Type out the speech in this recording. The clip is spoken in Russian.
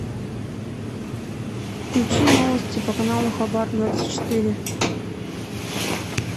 включи новости по каналу хабар двадцать четыре